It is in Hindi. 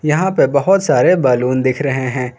यहां पे बहुत सारे बैलून दिख रहे हैं।